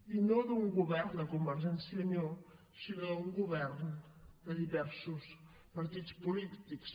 i no d’un govern de convergència i unió sinó d’un govern de diversos partits polítics